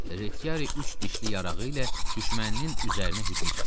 Reçiyari üç dişli yarağı ilə düşməninin üzərinə hücum çəkdi.